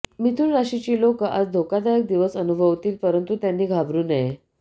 मिथुन राशीची लोकं आज धोकादायक दिवस अनुभवतील परंतू त्यांनी घाबरु नये